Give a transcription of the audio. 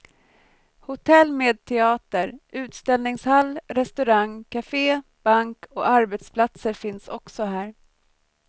Hotell med teater, utställningshall, restaurang, kafé, bank och arbetsplatser finns också här.